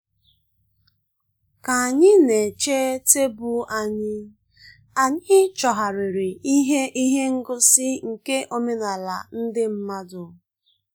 Ka anyị na-eche tebụl anyị, anyị chọgharịrị ihe ihe ngosi nke omenala ndị mmadụ.